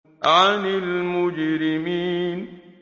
عَنِ الْمُجْرِمِينَ